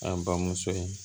An bamuso ye